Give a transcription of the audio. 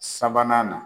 Sabanan na